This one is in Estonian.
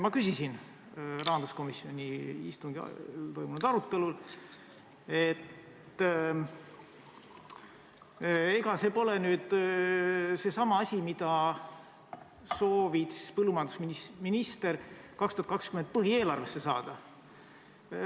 Ma küsisin rahanduskomisjoni istungil toimunud arutelul, et ega see ole nüüd seesama asi, mida põllumajandusminister soovis 2020. aasta põhieelarvesse saada.